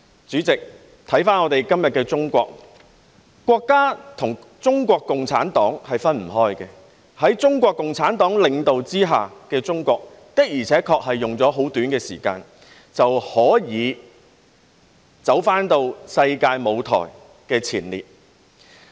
主席，回顧今天的中國，國家和中國共產黨是分不開的，在中國共產黨領導下的中國，的確只花了很短的時間，便可重回世界舞台的前列。